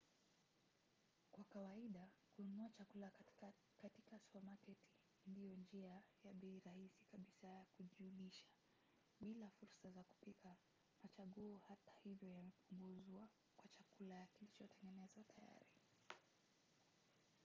kwa kawaida kununua chakula katika supamaketi ndiyo njia ya bei rahisi kabisa ya kujilisha. bila fursa za kupika machaguo hata hivyo yamepunguzwa kwa chakula kilichotengenezwa tayari